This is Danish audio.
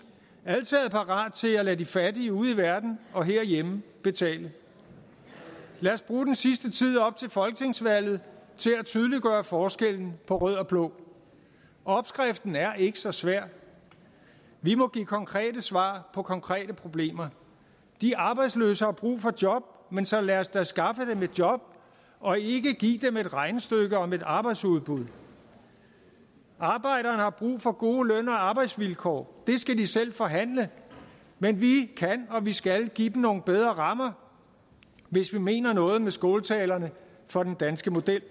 altid er parat til at lade de fattige ude i verden og herhjemme betale lad os bruge den sidste tid op til folketingsvalget til at tydeliggøre forskellen på rød og blå opskriften er ikke så svær vi må give konkrete svar på konkrete problemer de arbejdsløse har brug for job men så lad os da skaffe dem et job og ikke give dem et regnestykke om arbejdsudbud arbejderne har brug for gode løn og arbejdsvilkår det skal de selv forhandle men vi kan og vi skal give dem nogle bedre rammer hvis vi mener noget med skåltalerne for den danske model